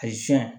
A yi